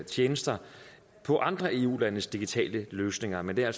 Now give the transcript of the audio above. tjenester på andre eu landes digitale løsninger men det er